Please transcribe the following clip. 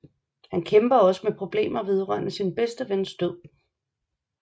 Han kæmper også med problemer vedrørende sin bedste vens død